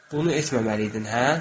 Bunu etməməliydin, hə?